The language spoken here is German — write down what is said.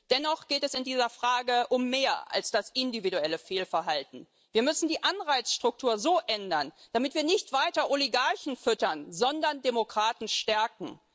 Dennoch geht es in dieser Frage um mehr als um das individuelle Fehlverhalten Wir müssen die Anreizstrukturen so ändern, dass wir damit nicht weiter Oligarchen füttern, sondern Demokraten stärken.